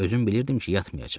Özüm bilirdim ki, yatmayacaq.